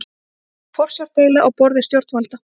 Forsjárdeila á borði stjórnvalda